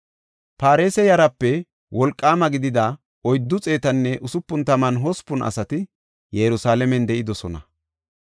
Paaresa yarape wolqaama gidida 468 asati Yerusalaamen de7idosona.